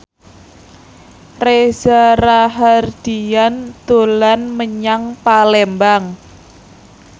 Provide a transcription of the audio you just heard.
Reza Rahardian dolan menyang Palembang